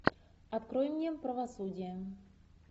открой мне правосудие